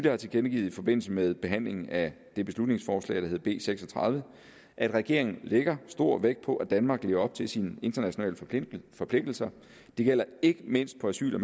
har tilkendegivet i forbindelse med behandlingen af det beslutningsforslag der hed b seks og tredive at regeringen lægger stor vægt på at danmark lever op til sine internationale forpligtelser det gælder ikke mindst på asyl og